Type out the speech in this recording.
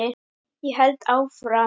Ég held áfram